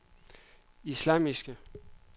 islamiske